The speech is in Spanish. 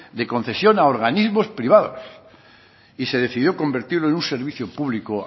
de concesión a organismo privados y se decidió convertirlo en un servicio público